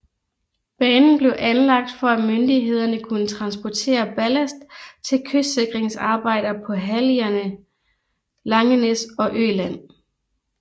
Banen blev anlagt for at myndighederne kunne transportere ballast til kystsikringsarbejder på halligerne Langenæs og Øland